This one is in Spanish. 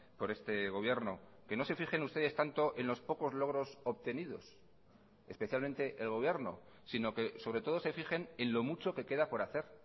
por este gobierno que no se fijen ustedes tanto en los pocos logros obtenidos especialmente el gobierno sino que sobre todo se fijen en lo mucho que queda por hacer